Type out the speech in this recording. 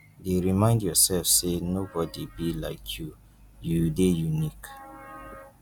dey remind yourself say no body be like you you dey unique